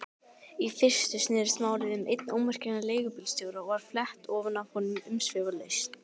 Í fyrstu snerist málið um einn ómerkilegan leigubílstjóra og var flett ofan af honum umsvifalaust.